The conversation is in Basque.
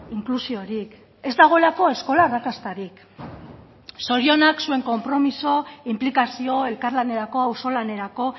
inklusiorik ez dagoelako eskola arrakastarik zorionak zuen konpromiso inplikazio elkarlanerako auzolanerako